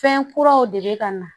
Fɛn kuraw de bɛ ka na